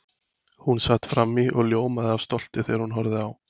Hún sat frammí og ljómaði af stolti þegar hún horfði á